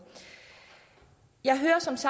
jeg